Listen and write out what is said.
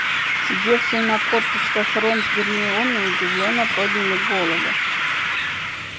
сидевшие на корточках рон с гермионой удивлённо подняли головы